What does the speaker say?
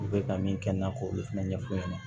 U bɛ ka min kɛ n na k'o fana ɲɛfu ɲɛna